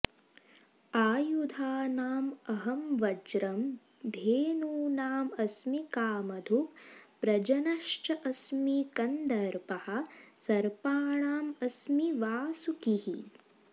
आयुधानाम् अहं वज्रं धेनूनाम् अस्मि कामधुक् प्रजनः च अस्मि कन्दर्पः सर्पाणाम् अस्मि वासुकिः